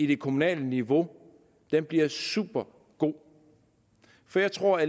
det kommunale niveau bliver supergod jeg tror at